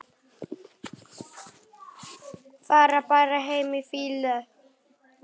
Fara bara heim í fýlu?